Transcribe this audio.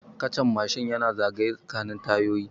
Kachan Mashin yana zagaye tsakanin tayoyi